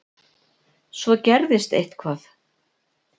Svo gerðist eitthvað.